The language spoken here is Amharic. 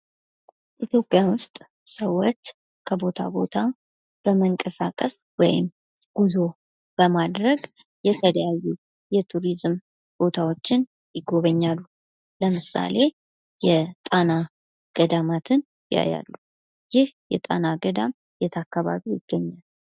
ኢትዮጵያ ውስጥ ሰዎች ከቦታ ቦታ በመንቀሳቀስ ወይም ጉዞ በማድረግ የተለያዩ የቱሪዝም ቦታዎችን ይጎበኛሉ። ለምሳሌ የጣና ገዳማትን ያያሉ። ይህ የጣና ገዳም የት አካባቢ ይገኛል?